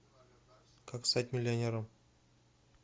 как стать миллионером